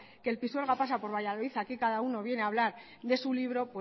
que el pisuerga pasa por valladolid aquí cada uno viene a hablar de su libro